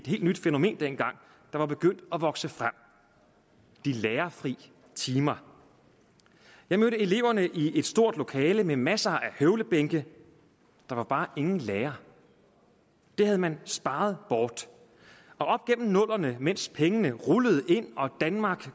helt nyt fænomen der var begyndt at vokse frem de lærerfri timer jeg mødte eleverne i et stort lokale med masser af høvlebænke der var bare ingen lærer det havde man sparet bort op gennem nullerne mens pengene rullede ind og vi i danmark